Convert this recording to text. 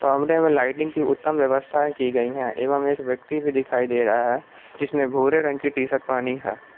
कमरे में लाइटिंग की उत्तम व्यवस्थाएं की गई हैं एवं एक व्यक्ति भी दिखाई दे रहा है जिसने भूरे रंग की टी_शर्ट पहनी है।